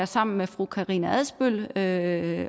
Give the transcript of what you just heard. sammen med fru karina adsbøl at